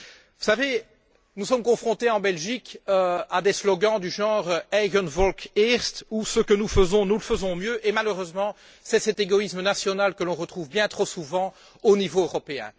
Vous savez, nous sommes confrontés en Belgique à des slogans du genre Eigen volk eerst ou Ce que nous faisons, nous le faisons mieux et, malheureusement, c'est cet égoïsme national que l'on retrouve bien trop souvent au niveau européen.